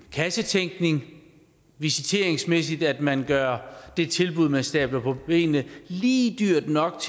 kassetænkning visiteringsmæssigt at man gør det tilbud man stabler på benene lige dyrt nok